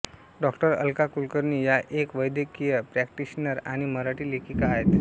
डाॅ अलका कुलकर्णी या एक वैद्यकीय प्रॅक्टिशनर आणि मराठी लेखिका आहेत